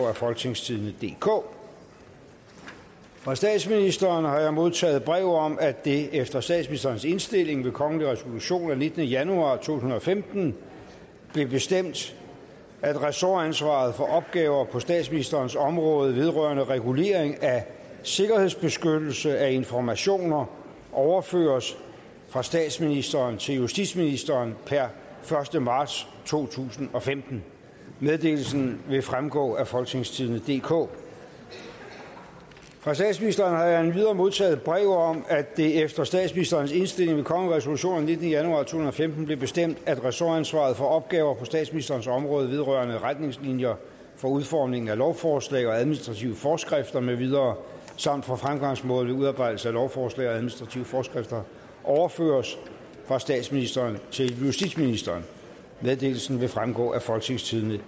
af folketingstidende DK fra statsministeren har jeg modtaget brev om at det efter statsministerens indstilling ved kongelig resolution af nittende januar to tusind og femten blev bestemt at ressortansvaret for opgaver på statsministerens område vedrørende regulering af sikkerhedsbeskyttelse af informationer overføres fra statsministeren til justitsministeren per første marts to tusind og femten meddelelsen vil fremgå af folketingstidende DK fra statsministeren har jeg endvidere modtaget brev om at det efter statsministerens indstilling ved kongelig resolution af nittende januar to tusind og femten blev bestemt at ressortansvaret for opgaver på statsministerens område vedrørende retningslinjer for udformningen af lovforslag og administrative forskrifter med videre samt for fremgangsmåden ved udarbejdelse af lovforslag og administrative forskrifter overføres fra statsministeren til justitsministeren meddelelsen vil fremgå af folketingstidende